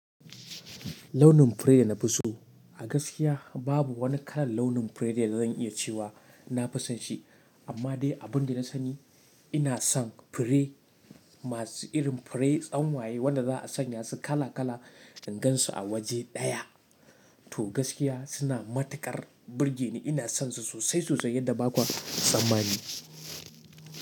Launin fure da na fi so a gaskiya babu wani kalar launin fure da zan iya cewa na fi son shi, amma dai abin da na sani ina son fure masu irin fure tsanwaye wanda za a sanya su kala kala ingansu a waje ɗaya. To gaskiya suna matukar burge ni. Ina son su sosai sosai yadda ba kwa tsammani.